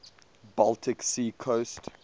baltic sea coast